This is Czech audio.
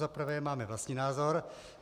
Za prvé, máme vlastní názor.